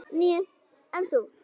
Níu, en þú?